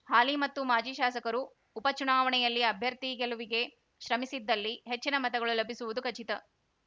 ಹಾಲಿ ಮತ್ತು ಮಾಜಿ ಶಾಸಕರು ಉಪ ಚುನಾವಣೆಯಲ್ಲಿ ಅಭ್ಯರ್ಥಿ ಗೆಲುವಿಗೆ ಶ್ರಮಿಸಿದ್ದಲ್ಲಿ ಹೆಚ್ಚಿನ ಮತಗಳು ಲಭಿಸುವುದು ಖಚಿತ